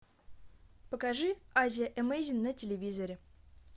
покажи азия эмейзинг на телевизоре